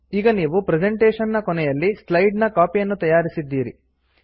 ಈಗ ನೀವು ಪ್ರೆಸೆಂಟೇಶನ್ ನ ಕೊನೆಯಲ್ಲಿ ಸ್ಲೈಡ್ ನ ಕಾಪಿ ಯನ್ನು ತಯಾರಿಸಿದ್ದೀರಿ